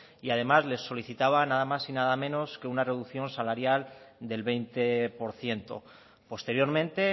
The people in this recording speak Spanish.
y además les solicitaban nada más y nada menos que una reducción salarial del veinte por ciento posteriormente